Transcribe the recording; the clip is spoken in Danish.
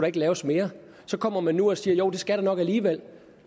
ikke laves mere så kommer man nu og siger jo det skal der nok alligevel